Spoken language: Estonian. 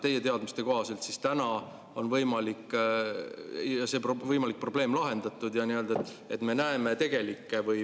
Teie teadmiste kohaselt on tänaseks see võimalik probleem lahendatud ja me näeme tegelikke.